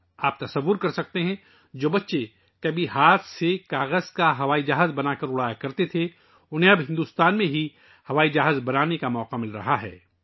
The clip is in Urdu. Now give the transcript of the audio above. آپ تصور کر سکتے ہیں ، وہ بچے جو کبھی کاغذ کے ہوائی جہاز بناتے تھے اور اپنے ہاتھوں سے اڑاتے تھے ، اب انہیں بھارت میں ہی ہوائی جہاز بنانے کا موقع مل رہا ہے